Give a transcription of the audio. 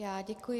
Já děkuji.